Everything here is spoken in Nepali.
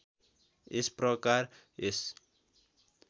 यस प्रकार यस